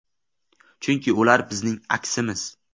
Chunki ular bizning aksimiz.